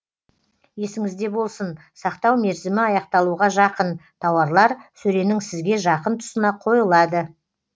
есіңізде болсын сақтау мерзімі аяқталуға жақын тауарлар сөренің сізге жақын тұсына қойылады